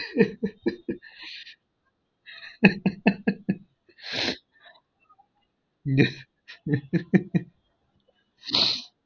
ஹெஹ்ஹெஹ்ஹே ஹெஹ்ஹெஹ்ஹே ஹெஹ்ஹெஹ்ஹே